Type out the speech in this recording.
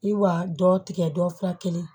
I wa dɔ tigɛ dɔ fila kelen